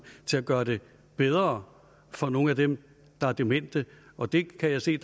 til at gøre det bedre for nogle af dem der er demente og det kan jeg se